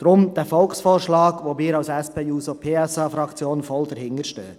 Darum gibt es diesen Volksvorschlag, hinter dem wir als SP-JUSO-PSA-Fraktion voll stehen.